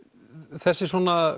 þessi